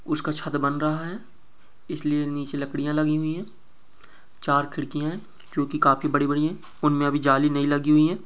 उसका छत्त बन रहा है इसलिए नीचे लकड़ियां लगी हुई है चार खिड़कियां है जोकि काफी बड़ी-बड़ी हैं उनमे अभी जाली नहीं लगी हुई हैं।